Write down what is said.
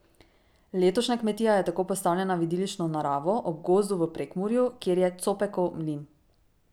Letošnja Kmetija je tako postavljena v idilično naravo ob gozdu v Prekmurju, kjer je Copekov mlin.